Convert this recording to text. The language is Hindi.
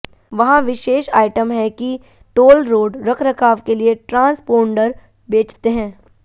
वहाँ विशेष आइटम है कि टोल रोड रखरखाव के लिए ट्रांसपोंडर बेचते हैं